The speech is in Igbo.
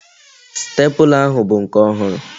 Sitepula ahụ bụ nke ọhụrụ